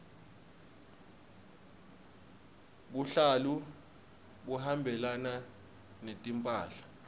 buhlalu buhambelana netimphahla